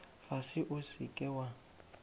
fase o se ke wa